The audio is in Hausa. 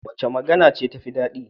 Wace magana ce tafi daɗi?